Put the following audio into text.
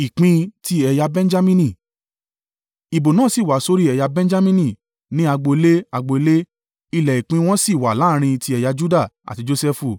Ìbò náà sì wá sórí ẹ̀yà Benjamini, ní agbo ilé, agbo ilé. Ilẹ̀ ìpín wọn sì wà láàrín ti ẹ̀yà Juda àti Josẹfu.